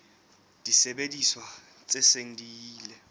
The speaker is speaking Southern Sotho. disebediswa tse seng di ile